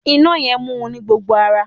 Iná yẹn mu ní gbogbo ara.